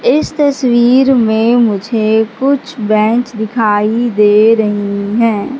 इस तस्वीर में मुझे कुछ बैंच दिखाई दे रही हैं।